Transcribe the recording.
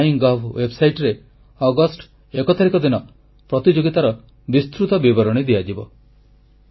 MyGov ୱେବସାଇଟରେ ପ୍ରତିଯୋଗିତାର ବିସ୍ତୃତ ବିବରଣୀ ଦିଆଯିବ